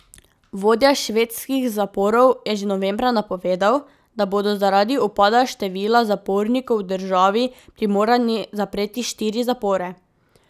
Vodja švedskih zaporov je že novembra napovedal, da bodo zaradi upada števila zapornikov v državi primorani zapreti štiri zapore.